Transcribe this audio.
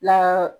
La